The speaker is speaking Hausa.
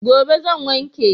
Gobe zan wanke.